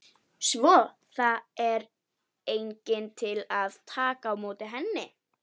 Svo er enginn til að taka við henni.